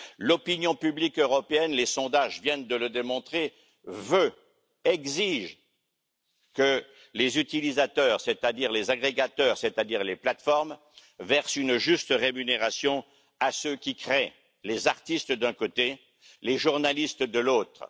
L'opinion publique européenne, les sondages viennent de le démontrer, exige que les utilisateurs, c'est à dire les agrégateurs, c'est à dire les plateformes, versent une juste rémunération à ceux qui créent les artistes d'un côté, les journalistes de l'autre.